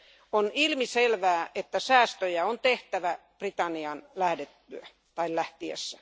On ilmiselvää, että säästöjä on tehtävä Britannian lähdettyä tai lähtiessä.